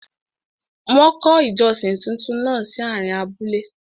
Wọ́n kọ́ ìjọsìn túntún náà sí àárín abúlé.